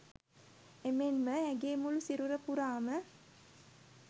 එමෙන්ම ඇගේ මුළු සිරුර පුරාම